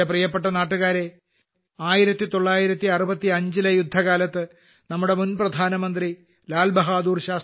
എന്റെ പ്രിയപ്പെട്ട നാട്ടുകാരേ 1965 ലെ യുദ്ധകാലത്ത് നമ്മുടെ മുൻപ്രധാനമന്ത്രി ലാൽ ബഹാദൂർ ശാസ്ത്രിജി ജയ് ജവാൻ ജയ് കിസാൻ എന്ന മുദ്രാവാക്യം അവതരിപ്പിച്ചു